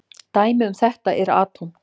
Dæmi um þetta eru atóm.